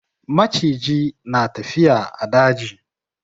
Maciji na tafiya a daji.